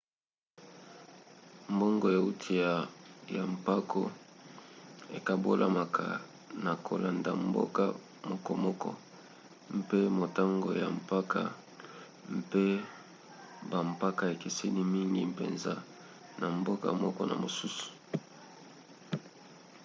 mbongo euti ya mpako ekabolamaka na kolanda mboka mokomoko mpe motango ya mpako mpe bampako ekeseni mingi mpenza na mboka moko na mosusu